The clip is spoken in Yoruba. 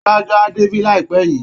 Adájọ́ á débí láìpẹ́ yìí